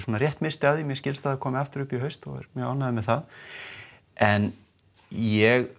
rétt missti af því mér skilst að það komi aftur upp í haust og ég er mjög ánægður með það en ég